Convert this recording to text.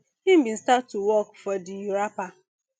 im bin start to work for di rapper